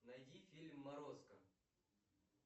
найди фильм морозко